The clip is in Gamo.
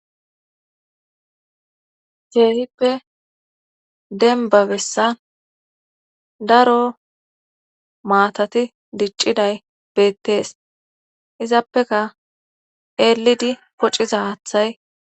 Keehippe demba bessa daro maatati dicciday beettees izappeka eelidi pociza haathay.